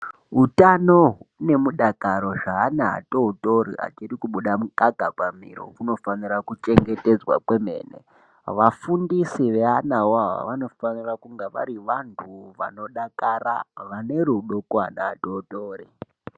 Utano nemudakaro weana adodori achiri kubuda mukaka pamiro unofano kuchengetedzwa. Vafundisi veanawawo vanofanira kunge vari vanhtu vanodakara vane rudo kuvana atotori.